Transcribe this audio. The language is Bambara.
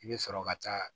I bɛ sɔrɔ ka taa